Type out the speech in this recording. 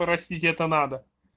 простить это надо